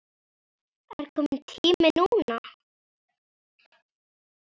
Er kominn tími núna?